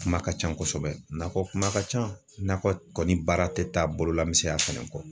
Kuma ka ca kosɛbɛ nakɔ kuma ka ca nakɔ kɔni baara te taa bolola misɛnya fana kɔ